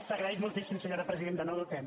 s’agraeix moltíssim senyora presidenta no ho dubtem